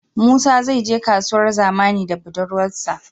Musa zai je kasuwar zamani da budurwar sa